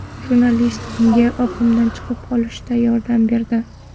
Jurnalist unga oqimdan chiqib olishida yordam berdi.